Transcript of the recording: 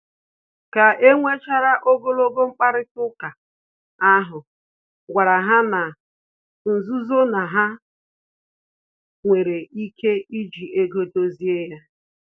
Ka enwechara ogologo mkparịta ụka ahụ, gwara ha na-nzuzo na ha nwere ike iji ego dozie